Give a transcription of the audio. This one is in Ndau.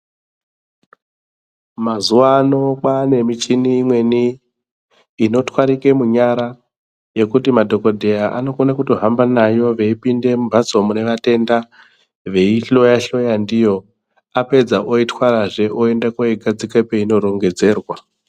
Mazuva ano kwane michini imweni inotwarike munyara yekuti madhogodheya anokona kuto hamba navo achipinde mumhatso mune vatenda veihloya-hloya ndiyo. Apedza oitwarazve oende koigadzika peinorongedzerwa.